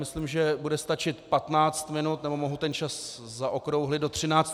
Myslím, že bude stačit 15 minut - nebo mohu ten čas zaokrouhlit.